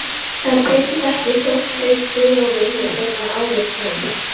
Það breytist ekki þótt þau trúlofi sig seinna árið sem